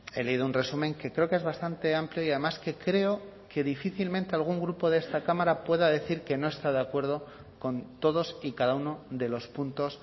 he leído un resumen que creo que es bastante amplio y además que creo que difícilmente algún grupo de esta cámara pueda decir que no está de acuerdo con todos y cada uno de los puntos